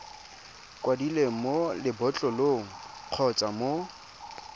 kwadilweng mo lebotlolong kgotsa mo